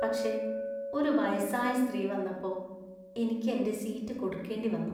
പക്ഷെ ഒരു വയസ്സായ സ്ത്രീ വന്നപ്പോ എനിക്ക് എന്‍റെ സീറ്റ് കൊടുക്കേണ്ടിവന്നു .